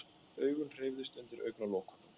Augun hreyfðust undir augnalokunum.